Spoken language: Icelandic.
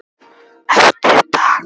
Eftir dag.